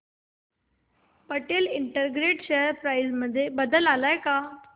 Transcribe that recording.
Patel integrate share price मध्ये बदल आलाय का